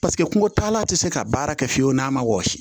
Paseke kungo taala ti se ka baara kɛ fiyewu n'a ma wɔsi